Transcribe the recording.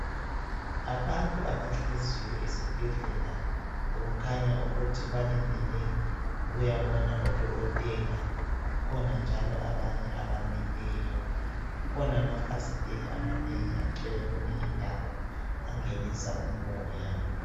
Abantu abahleziyo esibhedlela okukhanya ukuthi balindele ukuyabona udokotela, kukhona njalo abanye abamileyo kukhona amafasitela amanengi agcwele kuleyindawo angenisa umoya.